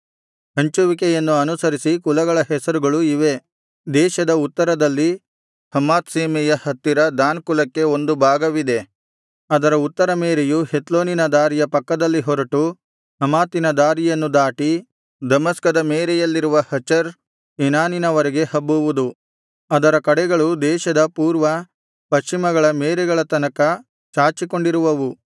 ಹಂಚುವಿಕೆಯನ್ನು ಅನುಸರಿಸಿ ಕುಲಗಳ ಹೆಸರುಗಳು ಇವೇ ದೇಶದ ಉತ್ತರದಲ್ಲಿ ಹಮಾತ್ ಸೀಮೆಯ ಹತ್ತಿರ ದಾನ್ ಕುಲಕ್ಕೆ ಒಂದು ಭಾಗವಿದೆ ಅದರ ಉತ್ತರ ಮೇರೆಯು ಹೆತ್ಲೋನಿನ ದಾರಿಯ ಪಕ್ಕದಲ್ಲಿ ಹೊರಟು ಹಮಾತಿನ ದಾರಿಯನ್ನು ದಾಟಿ ದಮಸ್ಕದ ಮೇರೆಯಲ್ಲಿರುವ ಹಚರ್ ಏನಾನಿನವರೆಗೆ ಹಬ್ಬುವುದು ಅದರ ಕಡೆಗಳು ದೇಶದ ಪೂರ್ವ ಪಶ್ಚಿಮಗಳ ಮೇರೆಗಳ ತನಕ ಚಾಚಿಕೊಂಡಿರುವವು